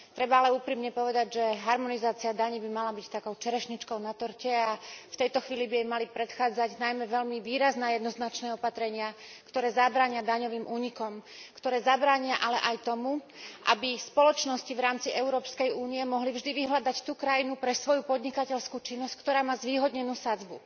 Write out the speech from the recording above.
Treba ale úprimne povedať, že harmonizácia daní by mala byť takou čerešničkou na torte a v tejto chvíli by jej mali predchádzať najmä veľmi výrazné a jednoznačné opatrenia, ktoré zabránia daňovým únikom, ktoré ale zabránia aj tomu, aby spoločnosti v rámci Európskej únie mohli vždy vyhľadať tú krajinu pre svoju podnikateľskú činnosť, ktorá má zvýhodnenú sadzbu.